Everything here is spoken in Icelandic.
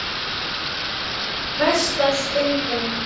Versta stundin?